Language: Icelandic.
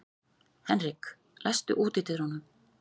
Henrik, læstu útidyrunum.